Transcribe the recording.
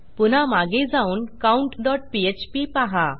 पुन्हा मागे जाऊन countपीएचपी पहा